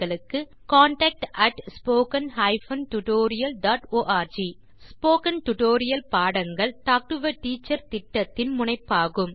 contact at spoken hyphen tutorial dot org spoken tutorial பாடங்கள் talk to a teacher திட்டத்தின் முனைப்பாகும்